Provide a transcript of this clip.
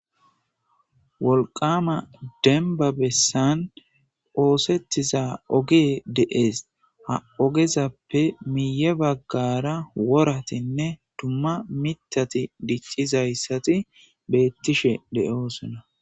wolqama denbabessan oosettiza ogee deees ha ogezappe miye baggara woratinne dumma mitati diccizayssati beettishe de7oosona